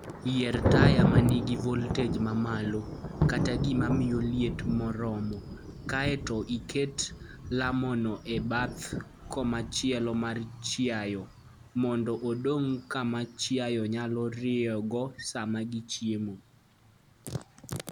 Yier taya ma nigi voltage mamalo, kata gima miyo liet moromo, kae to iket lamono e bathe komachielo mar chiayo, mondo odong' kama chiayo nyalo ringoe sama gichiemo.